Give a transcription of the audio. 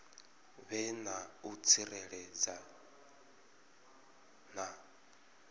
vhe na u tsireledzea na